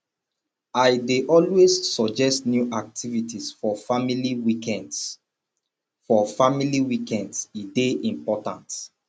i dey always suggest new activities for family weekends for family weekends e dey important